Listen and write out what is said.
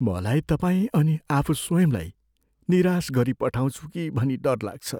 मलाई तपाईँ अनि आफू स्वयंलाई निराश गरिपठाउँछु कि भनी डर लाग्छ।